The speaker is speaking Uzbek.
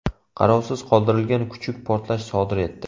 Qarovsiz qoldirilgan kuchuk portlash sodir etdi.